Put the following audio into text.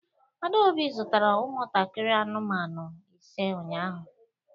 Adaobi zụtara ụmụntakịrị anụmanụ ise ụnyahụ